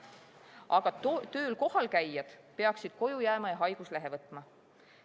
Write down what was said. Aga tööl kohalkäijad peaksid koju jääma ja haiguslehe võtma.